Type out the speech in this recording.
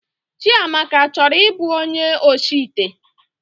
Chịamaka achọrọ ịbụ onye oshi ite?